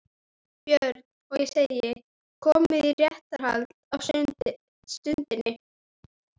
BJÖRN: Og ég segi: Komið í réttarhald á stundinni